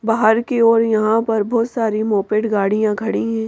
बाहर की ओर यहाँ पर बहुत सारी मोपेट गाड़ियां खड़ी हैं।